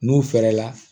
N'u fɛɛrɛ la